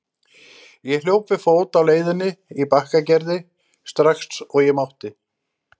Ég hljóp við fót á leiðinni í Bakkagerði strax og ég mátti.